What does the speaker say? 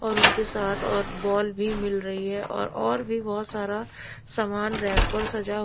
और उनके साथ और बॉल भी मिल रही है और और भी बहुत सारा सामान रैक पर सजा--